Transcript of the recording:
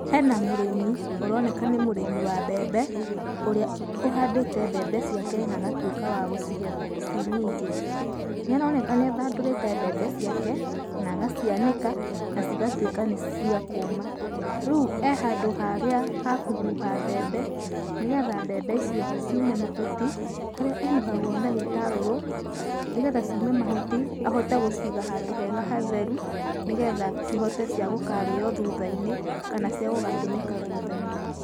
Hena mũrĩmi ũroneka nĩ mũrĩmi wa mbembe, ũrĩa ũhandĩte mbembe ciake nagatuĩka wa gũcigetha ciĩ nyingĩ. Nĩ aroneka nĩ athandũrĩte mbembe ciake, nagacianĩka na cigatuĩka nĩ cia kũũma. Rĩu e handũ haria ha kũhuha mbembe nĩgetha mbembe ico ciume mahuti, harĩa ĩhuhagwo na gĩtarũrũ, nĩgetha ciume mahuti, ahote gũciga handũ hega hatheru, nĩgetha cihote ciagũkarĩywo thutha-inĩ, kana ciagũgatũmĩka thutha-inĩ.